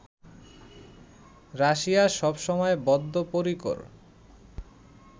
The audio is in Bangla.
রাশিয়া সবসময় বদ্ধপরিকর